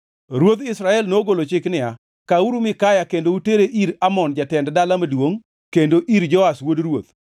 Ruodh Israel nogolo chik niya, “Kawuru Mikaya kendo utere ir Amon jatend dala maduongʼ kendo ir Joash wuod ruoth,